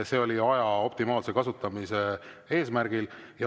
See oli aja optimaalse kasutamise eesmärgil.